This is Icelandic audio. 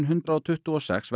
hundrað tuttugu og sex